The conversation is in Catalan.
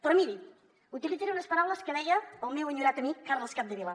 però miri utilitzaré unes paraules que deia el meu enyorat amic carles capdevila